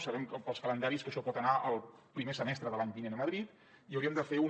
sabem pels calendaris que això pot anar el primer semestre de l’any vinent a madrid i hauríem de fer un